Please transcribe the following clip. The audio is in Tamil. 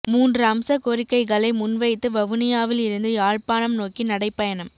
மூன்று அம்ச கோரிக்கைகளை முன்வைத்து வவுனியாவில் இருந்து யாழ்ப்பாணம் நோக்கி நடைபயணம்